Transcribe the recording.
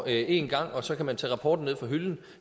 én gang og så kan man tage rapporten ned fra hylden